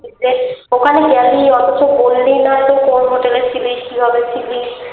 ওখানে গেলি অথচ বললিনা ছিলিস কিভাবে ছিলি